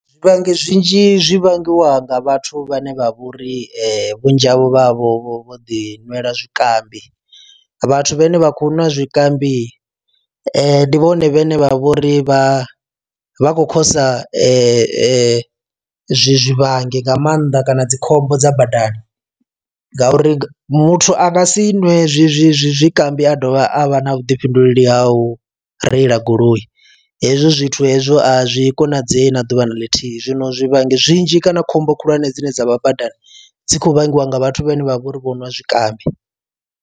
Zwivhangi zwinzhi zwi vhangiwa nga vhathu vhane vha vhori vhunzhi havho vha havho vho vho ḓi nwela zwikambi. Vhathu vhane vha khou nwa zwikambi ane ndi vhone vhane vha vhori vha vha khou khosa zwivhangi nga maanḓa kana dzi khombo dza badani ngauri muthu anga si nwe zwi zwi zwi zwikambi a dovha a vha na vhuḓifhinduleli a u reila goloi hezwo zwithu hezwo a zwi konadzei na ḓuvha na ḽithihi zwino zwivhangi zwinzhi kana khombo khulwane dzine dzavha badani dzi khou vhangiwa nga vhathu vhane vha vhori vho nwa zwikambi.